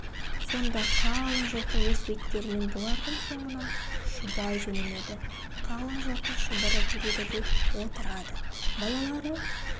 сонда қалың жылқы өз беттерімен бұлардың соңынан шұбай жөнеледі қалың жылқы шұбырып ереді де отырады балалары